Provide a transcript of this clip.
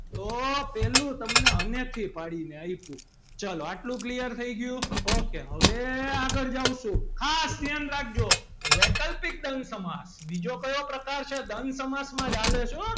તો પહેલું તમને અને થી પાડીને આપ્યું. ચલો આટલું clear થઈ ગયું ok હવે આગળ જાવ છું ખાસ ધ્યાન રાખજો વૈકલ્પિક દ્વંદ સમાસ બીજો કયો પ્રકાર છે દ્વંદ સમાસમાં હાલે છે હો.